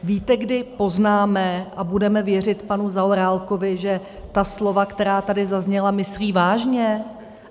Víte, kdy poznáme a budeme věřit panu Zaorálkovi, že ta slova, která tady zazněla, myslí vážně?